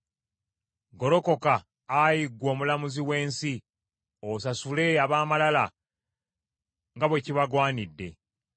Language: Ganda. Golokoka, Ayi ggwe Omulamuzi w’ensi, osasule ab’amalala nga bwe kibagwanidde.